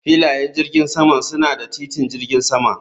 Filayen jirgin saman suna da titin jirgin sama